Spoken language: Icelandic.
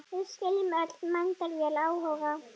Við skiljum öll mætavel áhuga